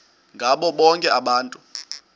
ngabo bonke abantu